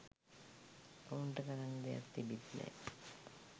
ඔව්න්ට කරන්න දෙයක් තිබිත් නෑ